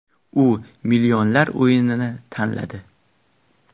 U millionlar o‘yinini tanladi.